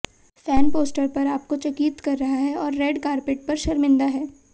fan poster पर आपको चकित कर रहा है और रेड कार्पेट पर शर्मिंदा है